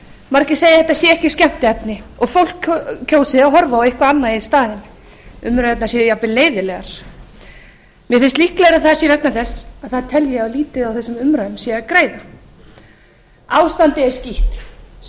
margir segja að þetta sé ekki skemmtiefni og fólk kjósi að horfa á eitthvað annað í staðinn umræðurnar séu leiðinlegar mér finnst líklegra að það sé vegna þess að það telji að lítið sé á þessum umræðum að græða ástandið er skítt segir